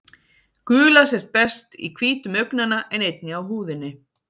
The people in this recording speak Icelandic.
Gula sést best í hvítum augnanna en einnig á húðinni.